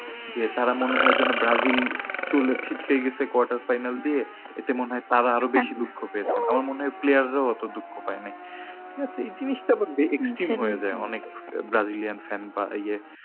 যে তারা মনে হয় যেন ব্রাজিল চলেছে খেলে এসে quarter final দিয়ে। এতে মনে হয় তারও আরো বেশি দুঃখ পেয়েছে। আমার মনে হয় player রা ওতো দুঃখ পায় না ঠিক আছে। এই জিনিসটা আমার extreme হয়ে যায় অনেক ব্রাজিলিয়ান fan রা এর